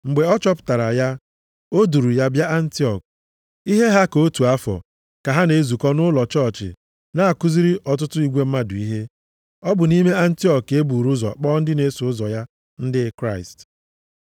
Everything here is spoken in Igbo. Mgbe ọ chọpụtara ya, o duuru ya bịa nʼAntiọk. Ihe ha ka otu afọ, ka ha na-ezukọ nʼụlọ chọọchị na-akụziri ọtụtụ igwe mmadụ ihe. Ọ bụ nʼime Antiọk ka e buru ụzọ kpọọ ndị na-eso ụzọ ya ndị Kraịst.